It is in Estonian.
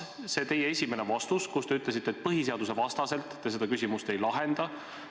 Oma esimeses vastuses te ütlesite, et põhiseadusvastaselt te seda küsimust ei lahenda.